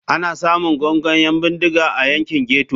Ana samun gungun 'yan bindiga a yankin ghetto.